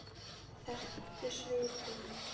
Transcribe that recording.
Þær þekktu svipinn.